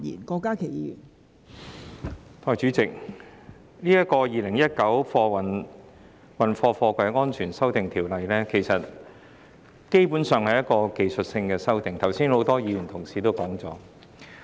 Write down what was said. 代理主席，《2019年運貨貨櫃條例草案》基本上是要實施一些技術性修訂，剛才很多議員已有提及。